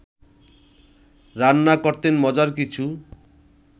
রান্না করতেন মজার কিছু